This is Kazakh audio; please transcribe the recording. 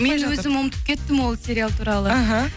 мен өзім ұмытып кеттім ол сериал туралы мхм